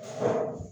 Hɔn